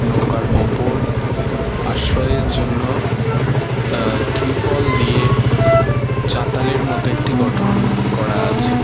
নৌকার ওপর আশ্রয়ের জন্য আ ত্রিপল দিয়ে চাতালের মতো একটি গঠন-ন করা আছে।